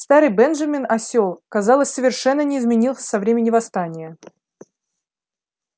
старый бенджамин осел казалось совершенно не изменился со времён восстания